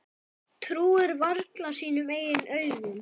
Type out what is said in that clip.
Trúir varla sínum eigin augum.